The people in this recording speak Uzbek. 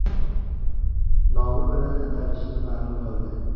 nomi bilan atalishini ma’lum qildi.